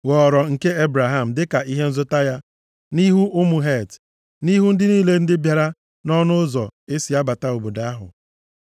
ghọrọ nke Ebraham dịka ihe nzụta ya nʼihu ụmụ Het, nʼihu ndị niile ndị bịara nʼọnụ ụzọ e si abata obodo ahụ.